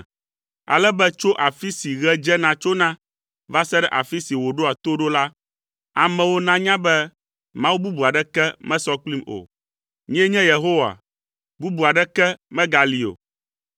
Ale be tso afi si ɣe dzena tsona va se ɖe afi si wòɖoa to ɖo la, amewo nanya be Mawu bubu aɖeke mesɔ kplim o. Nyee nye Yehowa. Bubu aɖeke megali o.